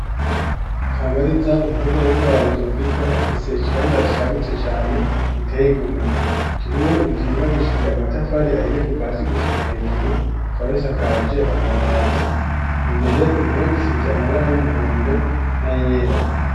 Kamariza umukobwa w'imfura wa rudoviko afise ikibanza cagutse cane giteye igomwe kirimwo inzu yubakishije amatafari ahiye kuva hasi gushika hejuru ikaba isakaje amabati imbere amabara y'umuhondo na yera.